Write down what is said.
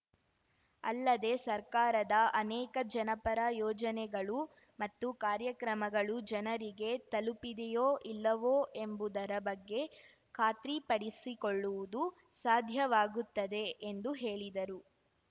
ಅಲ್ಲದೆ ಸರ್ಕಾರದ ಅನೇಕ ಜನಪರ ಯೋಜನೆಗಳು ಮತ್ತು ಕಾರ್ಯಕ್ರಮಗಳು ಜನರಿಗೆ ತಲುಪಿದೆಯೋ ಇಲ್ಲವೋ ಎಂಬುದರ ಬಗ್ಗೆ ಖಾತ್ರಿ ಪಡಿಸಿಕೊಳ್ಳುವುದು ಸಾಧ್ಯವಾಗುತ್ತದೆ ಎಂದು ಹೇಳಿದರು